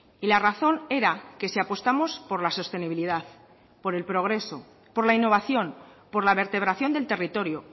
y la razón era que si apostamos por la sostenibilidad por el progreso por la innovación por la vertebración del territorio